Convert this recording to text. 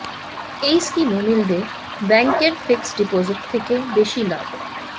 এই স্কিমে মিলবে ব্যাঙ্কের ফিক্সড ডিপোজিট থেকে বেশি লাভ